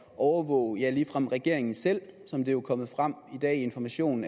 overvåge ja ligefrem regeringen selv som det jo er kommet frem i dag i information